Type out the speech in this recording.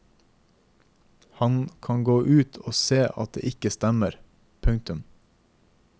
Han kan gå ut og se at det ikke stemmer. punktum